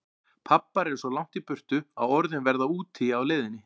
Pabbar eru svo langt í burtu að orðin verða úti á leiðinni.